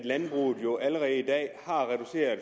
at landbruget jo allerede i dag har reduceret